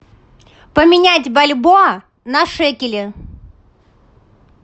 поменять бальбоа на шекели